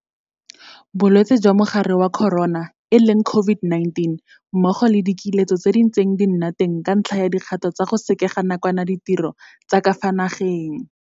Bolwetse jwa Mogare wa Corona COVID-19 mmogo le dikiletso tse di ntseng di nna teng ka ntlha ya dikgato tsa go sekega nakwana ditiro tsa ka fa nageng.